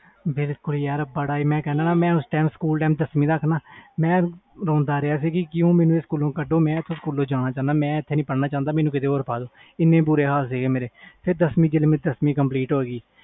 ਮੈਂ ਯਾਰ ਦਸਵੀ ਤਕ ਰੋਂਦਾ ਰਿਹਾ ਕਿ ਮੈਨੂੰ ਸਕੂਲ ਕੱਢੋ ਮੈਂ ਇਥੇ ਨਹੀਂ ਪੜਨਾ ਫਿਰ ਜਦੋ ਮੇਰੀ ਦਸਵੀ ਹੋਈ